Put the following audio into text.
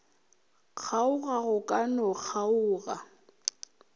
kgaoga go ka no kgaoga